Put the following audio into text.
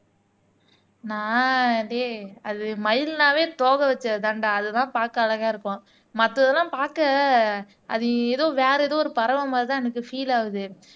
நான் டேய் அது மயில்னாவே தொகை வச்சதுதான்டா அதுதான் பார்க்க அழகா இருக்கும் மத்ததெல்லாம் பார்க்க அது ஏதோ வேற ஏதோ ஒரு பறவை மாதிரிதான் எனக்கு பீல் ஆகுது